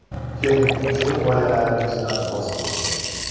Keling, shu g‘oyalaringizdan voz keching.